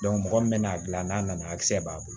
mɔgɔ min bɛna'a dilan n'a nana kisɛ b'a bolo